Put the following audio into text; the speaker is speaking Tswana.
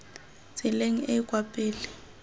tseleng e e kwa pele